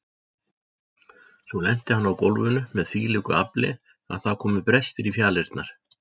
Svo lenti hann á gólfinu með þvílíku afli að það komu brestir í fjalirnar.